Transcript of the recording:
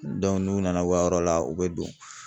n'u nana u ka yɔrɔ la u bɛ don.